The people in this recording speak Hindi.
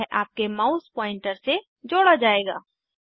यह आपके माउस पॉइंटर से जोड़ा जायेगा